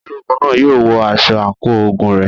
Ológun náà yóò wọ aṣọ àǹkóò ogun rẹ̀.